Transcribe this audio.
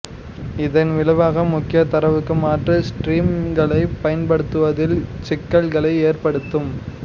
இதன் விளைவாக முக்கியத் தரவுக்கு மாற்று ஸ்ட்ரீம்களை பயன்படுத்துவதில் சிக்கல்களை ஏற்படுத்தும்